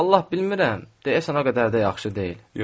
Vallahi bilmirəm, deyəsən o qədər də yaxşı deyil.